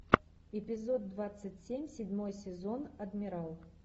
эпизод двадцать семь седьмой сезон адмирал